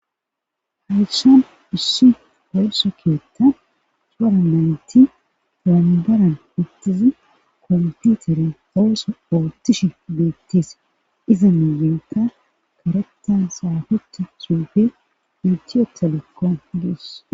Hayshan issi oosso keetta suura naynti dalanbaran ittizi kompitere oossa oottishi beettis iza mayenta karetan saafeta suufe intiyeta lokkon dies.